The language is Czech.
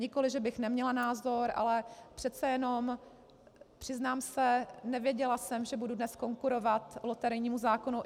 Nikoliv že bych neměla názor, ale přece jenom, přiznám se, nevěděla jsem, že budu dnes konkurovat loterijnímu zákonu.